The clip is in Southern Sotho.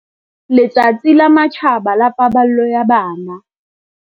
Letsatsi la Matjhaba la Paballo ya Bana.